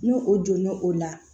Ni o donna o la